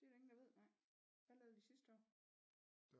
Det er der ingen der ved nej hvad lavede vi sidste år